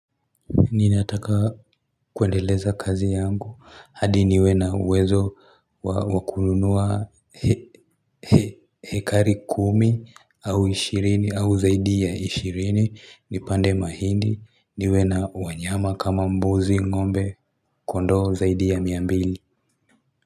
Ninataka kuendeleza kazi yangu hadi niwe na uwezo wakununua hekari kumi au ishirini au zaidi ya ishirini nipande mahindi niwe na wanyama kama mbuzi ngombe kondoo zaidi ya mia mbili.